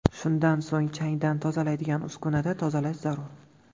Shundan so‘ng changdan tozalaydigan uskunada tozalash zarur.